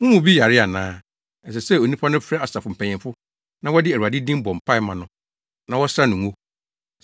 Mo mu bi yare ana? Ɛsɛ sɛ saa onipa no frɛ asafo mpanyimfo na wɔde Awurade din bɔ mpae ma no na wɔsra no ngo.